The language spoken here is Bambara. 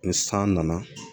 Ni san nana